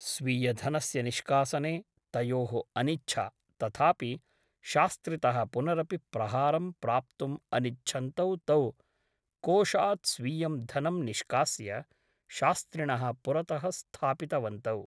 स्वीयधनस्य निष्कासने तयोः अनिच्छा । तथापि शास्त्रितः पुनरपि प्रहारं प्राप्तुम् अनिच्छन्तौ तौ कोषात् स्वीयं धनं निष्कास्य शास्त्रिणः पुरतः स्थापित वन्तौ ।